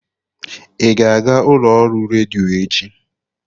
Ị ga-aga ụlọ ọrụ redio echi?